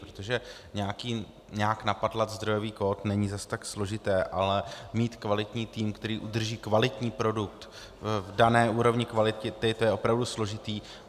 Protože nějak napatlat zdrojový kód není zas tak složité, ale mít kvalitní tým, který udrží kvalitní produkt v dané úrovni kvality, to je opravdu složité.